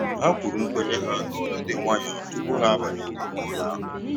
Ha kwuru nkwenye ha n'olu dị nwayọọ tupu ha abanye n'ime ụlọ ahụ